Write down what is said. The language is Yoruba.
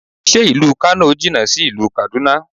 Ṣé ìlú Kano jìnà sí ìlú Kaduna?